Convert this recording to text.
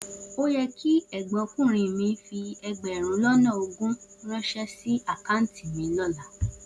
O yẹ kí ẹ̀gbọ́nkùnrin mi fi ẹgbẹ̀rún lọ́nà ogún ránṣẹ́ sí àkáùntì mi lọ́la.